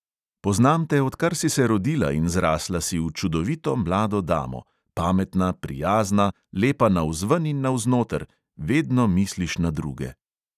Poznam te, odkar si se rodila in zrasla si v čudovito mlado damo ... pametna, prijazna, lepa navzven in navznoter, vedno misliš na druge.